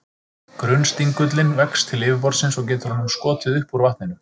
Grunnstingullinn vex til yfirborðsins, og getur honum skotið upp úr vatninu.